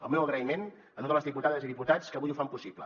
el meu agraïment a totes les diputades i diputats que avui ho fan possible